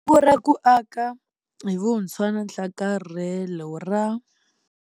Nkungu ra ku Aka hi Vuntshwa na Nhlakarhelo ra.